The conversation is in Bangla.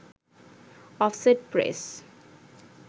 offset press